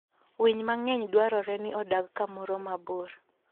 Winy mang'eny dwarore ni odag kamoro mabor.